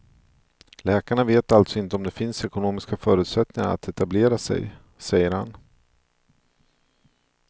Läkarna vet alltså inte om det finns ekonomiska förutsättningar att etablera sig, säger han.